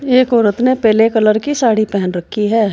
एक औरत ने पीले कलर की साड़ी पहन रखी है।